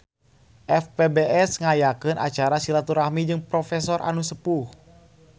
FPBS ngayakeun acara silaturahmi jeung profesor anu sepuh